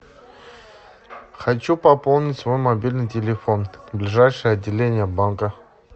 хочу пополнить свой мобильный телефон ближайшее отделение банка